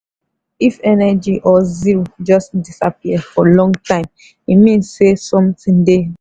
if energy or zeal just disappear for long time e mean say something dey.